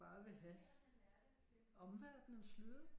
Bare vil have omverdenens lyde